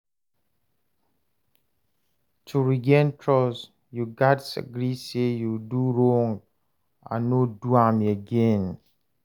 To regain trust, yu gats agree say yu do wrong and no do am again.